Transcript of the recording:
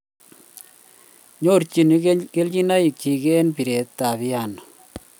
Nyorchini kelchinoik chiik eng piiret ab Piano